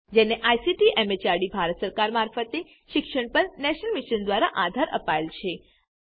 જેને ICT MHRD Bharat સરકાર મારફતે શિક્ષણ પર નેશનલ મિશન દ્વારા આધાર અપાયેલ છે